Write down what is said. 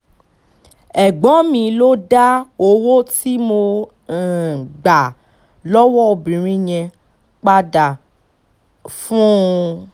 ẹ̀gbọ́n mi ló dá owó tí mo um gbà lọ́wọ́ obìnrin yẹn padà um fún un